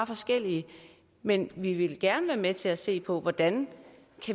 forskellige men vi vil gerne være med til at se på hvordan